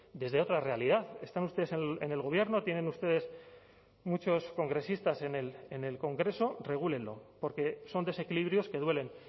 desde otra realidad están ustedes en el gobierno tienen ustedes muchos congresistas en el congreso regúlenlo porque son desequilibrios que duelen